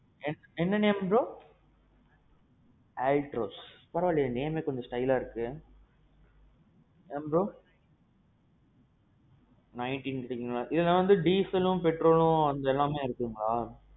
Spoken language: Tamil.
என்ன என்ன name bro? Altroz. பரவா இல்லியே name கொஞ்சம் styleஆ இருக்கு. ஏன் bro? nineteen தருங்களா. இதுல dieselம் petrolம் ரெண்டும் இருக்காங்களா?